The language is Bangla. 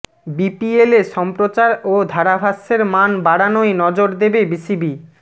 বিপিএলে সম্প্রচার ও ধারাভাষ্যের মান বাড়ানোয় নজর দেবে বিসিবি